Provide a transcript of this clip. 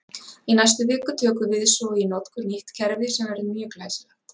Í næstu viku tökum við svo í notkun nýtt kerfi sem verður mjög glæsilegt!